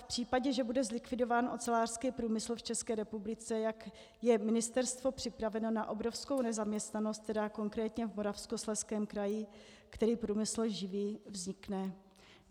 V případě, že bude zlikvidován ocelářský průmysl v České republice, jak je ministerstvo připraveno na obrovskou nezaměstnanost, která konkrétně v Moravskoslezském kraji, který průmysl živí, vznikne?